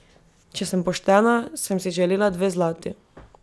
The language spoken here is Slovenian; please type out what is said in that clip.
Če sem poštena, sem si želela dve zlati.